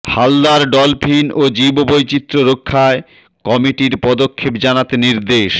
Haldar dolphin ও জীববৈচিত্র্য রক্ষায় কমিটির পদক্ষেপ জানাতে নির্দেশ